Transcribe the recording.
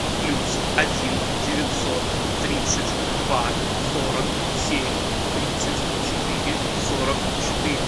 плюс один девятьсот тридцать два сорок семь тридцать четыре сорок четыре